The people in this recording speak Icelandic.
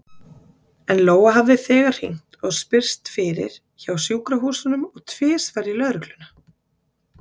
En Lóa hafði þegar hringt og spurst fyrir hjá sjúkrahúsunum og tvisvar í lögregluna.